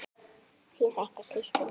Þín frænka, Kristín Anna.